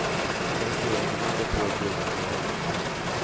Investeringarna har gått på dryga miljarden.